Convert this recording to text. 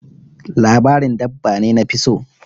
Labarin dabba ne nafi so.